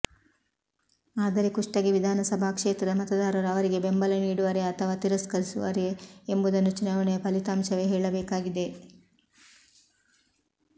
ಆದರೆ ಕುಷ್ಟಗಿ ವಿಧಾನ ಸಭಾ ಕ್ಷೇತ್ರದ ಮತದಾರರು ಅವರಿಗೆ ಬೆಂಬಲ ನೀಡುವರೇ ಅಥವಾ ತಿರಸ್ಕರಿಸುವರೇ ಎಂಬುದನ್ನು ಚುನಾವಣೆಯ ಫಲಿತಾಂಶವೇ ಹೇಳಬೇಕಾಗಿದೆ